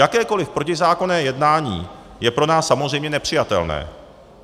Jakékoliv protizákonné jednání je pro nás samozřejmě nepřijatelné.